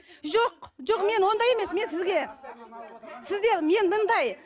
жоқ жоқ мен ондай емес мен сізге сізге мен